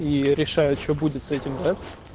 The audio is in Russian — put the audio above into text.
и решаю что будет с этим да